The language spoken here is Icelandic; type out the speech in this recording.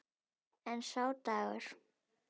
En sá dagur!